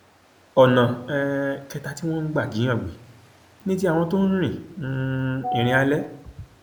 ọnà um kẹta tí wọn ń gbà jíìyàn gbé ni ti àwọn tó ń rin um ìrìn àlè